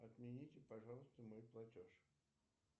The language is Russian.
отмените пожалуйста мой платеж